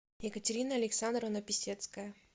екатерина александровна писецкая